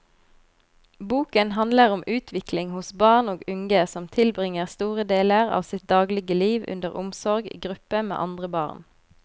Boken handler om utvikling hos barn og unge som tilbringer store deler av sitt dagligliv under omsorg i gruppe med andre barn.